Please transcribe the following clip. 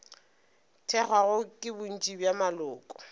thekgwago ke bontši bja maloko